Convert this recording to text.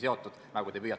See on minu märkus.